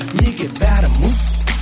неге бәрі мұз